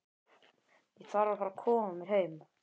Ég þarf að fara að koma mér heim.